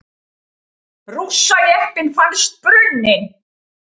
Rússajeppinn fannst brunninn